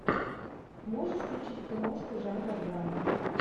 можешь включить киношку жанра драмы